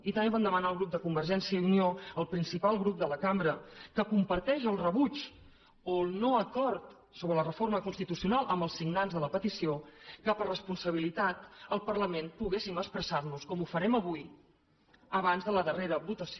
i també vam demanar al grup de convergència i unió el principal grup de la cambra que comparteix el rebuig o el no acord sobre la reforma constitucional amb els signants de la petició que per responsabilitat al parlament poguéssim expressar nos com ho farem avui abans de la darrera votació